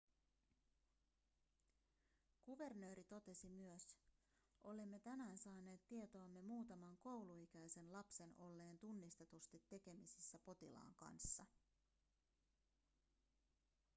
kuvernööri totesi myös olemme tänään saaneet tietoomme muutaman kouluikäisen lapsen olleen tunnistetusti tekemisissä potilaan kanssa